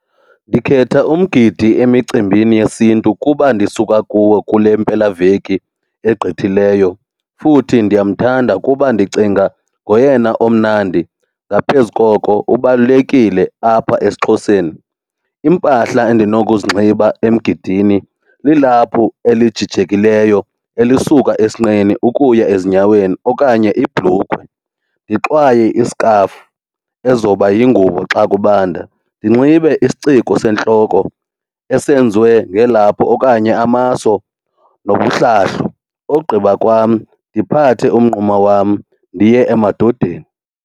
Ndikhetha umgidi emicimbini yesiNtu kuba ndisuka kuwo kule mpela veki egqithileyo futhi ndiyamthanda kuba ndicinga ngoyena omnandi. Ngaphezu koko ubalulekile apha esiXhoseni. Iimpahla endinokuzinxiba emgidini lilaphu elijijekileyo elisuka esinqeni ukuya ezinyaweni okanye ibhlukhwe, ndixwaye iskhafu ezoba yingubo xa kubanda, ndinxibe isiciko sentloko esenziwe ngelaphu okanye amaso nomhlahlo. Ogqiba kwam ndiphathe umnquma wam ndiye emadodeni.